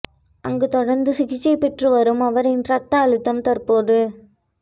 அங்கு தொடர்ந்து சிகிச்சை பெற்று வரும் அவரின் ரத்த அழுத்தம் தற்போது